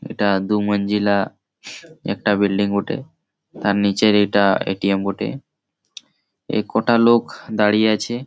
এটা দু মঞ্জিলা একটা বিল্ডিং বটে। তার নিচের এটা এ. টি. এম. বটে। এ কটা লোক দাঁড়িয়ে আছে --